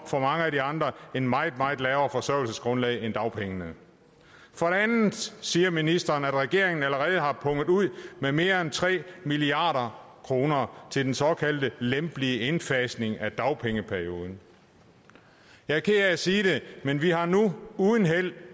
for mange af de andre tale et meget meget lavere forsørgelsesgrundlag end dagpenge for det andet siger ministeren at regeringen allerede har punget ud med mere end tre milliard kroner til den såkaldte lempelige indfasning af dagpengeperioden jeg er ked af at sige det men vi har nu uden held